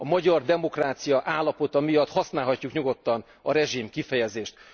A magyar demokrácia állapota miatt használhatjuk nyugodtan a rezsim kifejezést.